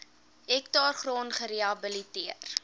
hektaar grond gerehabiliteer